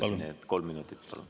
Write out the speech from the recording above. Palun, kolm minutit!